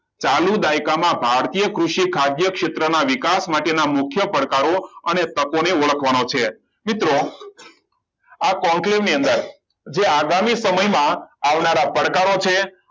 ચાલુ દાયકામાં ભારતીય કૃષિ અધ્યક્ષ ક્ષેત્રના વિકાસ માટેના મુખ્ય પડકારો અને તકો અને ઓળખવાનો છે મિત્રો આ conclave ની અંદર આજે આગામી સમયમાં આવનારા પડકારો છે